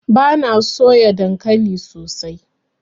Bana so na soya dankalin sosai.